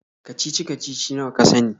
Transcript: kacici-kacici nawa ka sani.